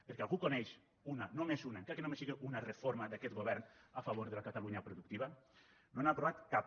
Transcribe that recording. perquè algú coneix una només una encara que només sigui una reforma d’aquest govern a favor de la catalunya productiva no n’ha aprovat cap